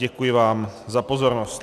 Děkuji vám za pozornost.